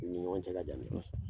U ni ɲɔgɔn cɛ ka jan dɛ